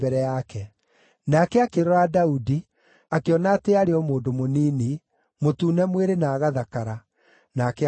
Nake akĩrora Daudi, akĩona atĩ aarĩ o mũndũ mũnini, mũtune mwĩrĩ na agathakara, nake akĩmũira.